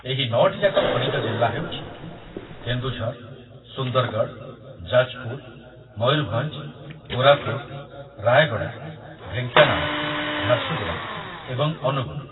ଏହି ନଅଟି ଯାକ ଖଣିଜ ଜିଲ୍ଲା ହେଉଛି କେନ୍ଦୁଝର, ସୁନ୍ଦରଗଡ଼, ଯାଜପୁର, ମୟୂରଭଞ୍ଜ, କୋରାପୁଟ, ରାୟଗଡ଼ା, ଢେଙ୍କାନାଳ, ଝାରସୁଗୁଡ଼ା ଏବଂ ଅନୁଗୁଳ।